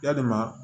Yalima